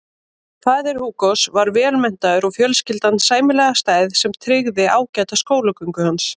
Faðir Hugos var vel menntaður og fjölskyldan sæmilega stæð sem tryggði ágæta skólagöngu hans.